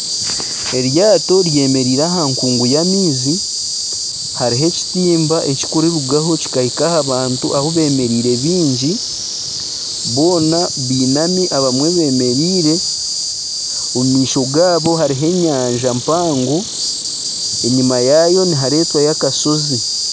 Eryaato ryemereire aha nkungu y'amaizi, hariho ekitimba ekirikururugaho kihahika aha bantu ahu bemereire bingi boona beinami ,abamwe bemereire, omu maisho gaabo harimu enyanja mpango enyuma yaayo niharetwayo akasozi.